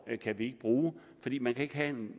kan vi ikke bruge fordi man ikke kan